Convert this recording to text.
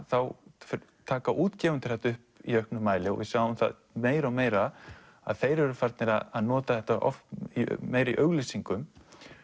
þá taka útgefendur þetta upp í auknum mæli og við sjáum meira og meira að þeir eru farnir að nota þetta meira í auglýsingum